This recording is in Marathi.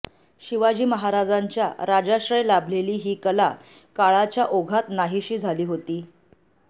शिवाजी महाराजांच्या राजाश्रय लाभलेली ही कला काळाच्या ओघात नाहिसी झाली होती